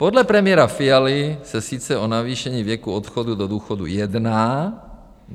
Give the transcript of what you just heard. Podle premiéra Fialy se sice o navýšení věku odchodu do důchodu jedná.